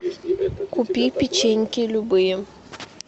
купи печеньки любые